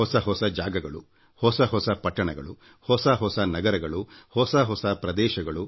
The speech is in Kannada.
ಹೊಸ ಹೊಸ ಜಾಗಗಳುಹೊಸ ಹೊಸ ಪಟ್ಟಣಗಳು ಹೊಸ ಹೊಸ ನಗರಗಳು ಹೊಸ ಹೊಸ ಪ್ರದೇಶಗಳು